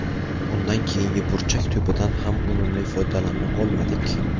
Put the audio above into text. Undan keyingi burchak to‘pidan ham unumli foydalana olmadik.